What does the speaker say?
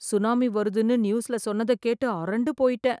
tsunami வருண்னு நியூஸ்ல சொன்னதை கேட்டு அரண்டு போயிட்டேன்